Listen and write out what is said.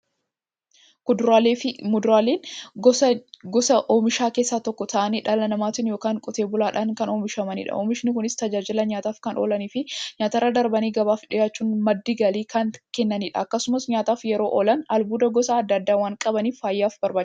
Kuduraafi muduraan gosa oomishaa keessaa tokko ta'anii, dhala namaatin yookiin Qotee bulaadhan kan oomishamaniidha. Oomishni Kunis, tajaajila nyaataf kan oolaniifi nyaatarra darbanii gabaaf dhiyaachuun madda galii kan kennaniidha. Akkasumas nyaataf yeroo oolan, albuuda gosa adda addaa waan qabaniif, fayyaaf barbaachisoodha.